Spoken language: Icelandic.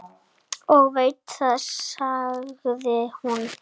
Ég veit það, sagði hún.